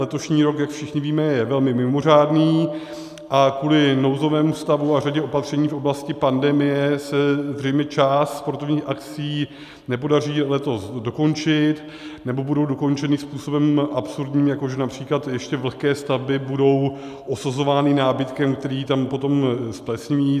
Letošní rok, jak všichni víme, je velmi mimořádný a kvůli nouzovému stavu a řadě opatření v oblasti pandemie se zřejmě část sportovních akcí nepodaří letos dokončit, nebo budou dokončeny způsobem absurdním, jako že například ještě vlhké stavby budou osazovány nábytkem, který tam potom zplesniví.